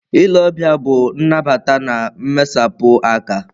Ile ọbịa bụ nnabata na mmesapụ aka.